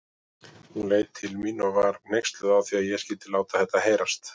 Hún leit til mín og var hneyksluð á að ég skyldi láta þetta heyrast.